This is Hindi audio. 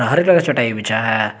हरे कलर का चटाई बिछा है।